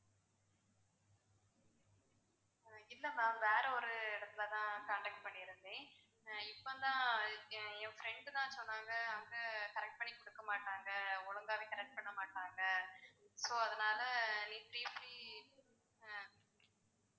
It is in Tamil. இல்ல ma'am வேற ஒரு இடத்துல தான் contact பண்ணிருந்தேன் இப்போ தான் என் friend தான் சொன்னாங்க அங்க correct பண்ணி கொடுக்க மாட்டாங்க ஒழுங்காவே correct பண்ண மாட்டாங்க so அதனால